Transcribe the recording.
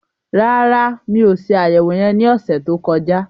Rárá, mi ò se àyẹ̀wò yẹn ní ọ̀sẹ̀ tó kọjá